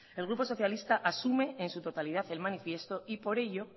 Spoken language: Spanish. el grupo socialista asume en su totalidad el manifiesto y por ello